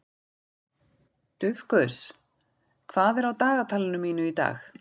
Dufgus, hvað er á dagatalinu mínu í dag?